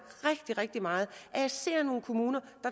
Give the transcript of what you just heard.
rigtig meget at jeg ser nogle kommuner